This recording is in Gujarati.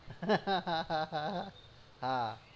હા